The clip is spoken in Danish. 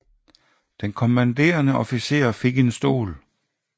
Den kommanderende officer fik en stol